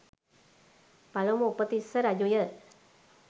පළමු උපතිස්ස රජු ය.